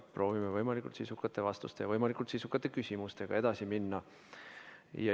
Proovime võimalikult sisukate vastuste ja võimalikult sisukate küsimustega edasi minna.